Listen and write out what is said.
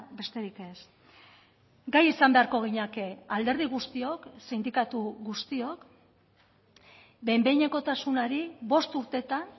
besterik ez gai izan beharko ginateke alderdi guztiok sindikatu guztiok behin behinekotasunari bost urteetan